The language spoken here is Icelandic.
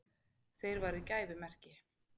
Þeir væru gæfumerki.